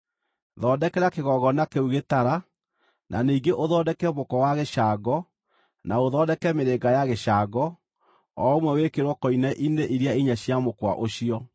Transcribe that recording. Thondekera kĩgongona kĩu gĩtara, na ningĩ ũthondeke mũkwa wa gĩcango, na ũthondeke mĩrĩnga ya gĩcango, o ũmwe wĩkĩrwo koine-inĩ iria inya cia mũkwa ũcio.